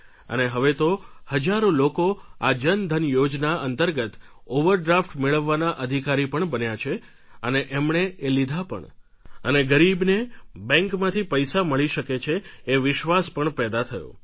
અને હવે તો હજારો લોકો આ જન ધન યોજના અંતર્ગત ઓવરડ્રાફ્ટ મેળવવાના અધિકારી પણ બન્યા અને એમણે એ લીધા પણ અને ગરીબને બેન્કમાંથી પૈસા મળી શકે છે એ વિશ્વાસ પણ પેદા થયો